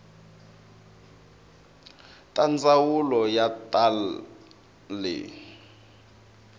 ta ndzawulo ya ta le